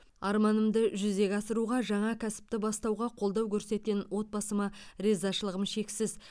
арманымды жүзеге асыруға жаңа кәсіпті бастауға қолдау көрсеткен отбасыма ризашылығым шексіз